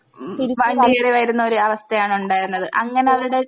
ഉം വണ്ടികേറിവരുന്നൊര് അവസ്ഥയാണുണ്ടായിരുന്നത് അങ്ങനെ അവരുടെ